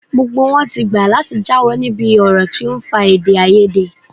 Gbogbo wọn ti gbà láti jáwọ́ níbi ọ̀rọ̀ tó ń fa èdèàìyedè